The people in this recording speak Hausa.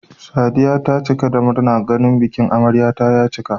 Sadiya ta cika da murna ganin bikin amaryar ta ya cika